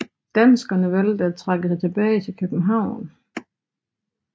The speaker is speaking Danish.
Danskerne valgte at trække sig tilbage til København